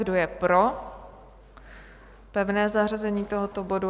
Kdo je pro pevné zařazení tohoto bodu?